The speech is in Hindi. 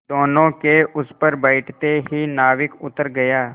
दोेनों के उस पर बैठते ही नाविक उतर गया